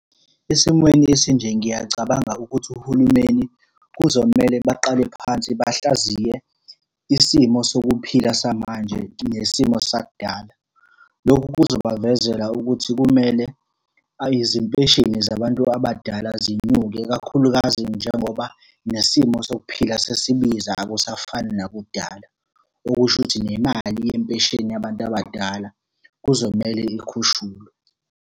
Esimweni esinje, ngiyacabanga ukuthi uhulumeni kuzomele baqale phansi bahlaziye isimo sokuphila samanje nesimo sakudala. Lokhu kuzobavezela ukuthi kumele izimpesheni zabantu abadala zinyuke kakhulukazi njengoba nesimo sokuphika sesibiza, akusafani nakudala. Okusho ukuthi nemali yempesheni yabantu abadala kuzomele ikhushulwe.